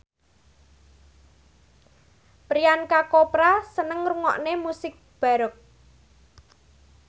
Priyanka Chopra seneng ngrungokne musik baroque